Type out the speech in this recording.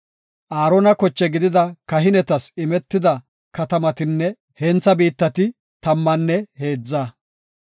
Aarona koche gidida kahinetas imetida katamatinne hentha biittati tammanne heedza.